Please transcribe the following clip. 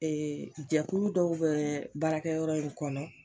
jɛkulu dɔw bɛ baarakɛ yɔrɔ in kɔnɔ.